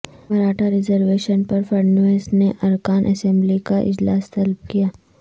Maratha reservation پر فڑنویس نے ارکان اسمبلی کا اجلاس طلب کیا